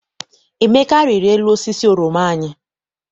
Emeka riri elu osisi oroma anyị.